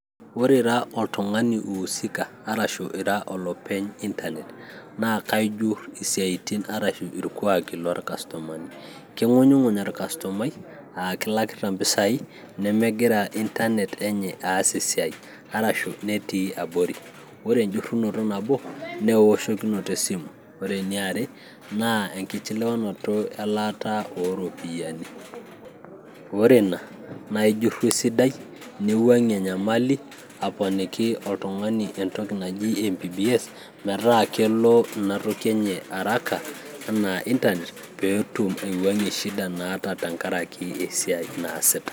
ore ira oltung'ani oiusika arashu ira olopeny intanet naa kaijurr isiatin arashu irkuaki lorkastomani, king'unying'uny orkastomai aa kilakita impisai nemegira intanet enye aas esiai arashu netii abori, ore enjurrunoto nabo nee ewoshokinoto esimu, ore ene are naa enkichiliwanoto elaata ooropiyiani ore ina naa ijurru esidai niwuang'ie enyamali aponiki oltung'ani entoki naji mpbs metaa kelo ina toki enye araka enaa intanet peetum aiwuang'ie shida naata tenkaraki esiai naasita.